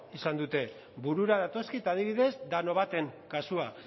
izan dute burura datozkit adibidez danobaten kasua